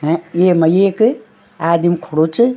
हैं येमा एक आदिम खडू च।